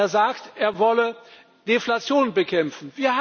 Er sagt, er wolle Deflation bekämpfen.